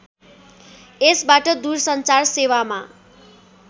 यसबाट दूरसञ्चार सेवामा